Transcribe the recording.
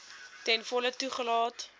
ten volle toegelaat